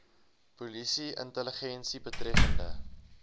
polisie intelligensie betreffende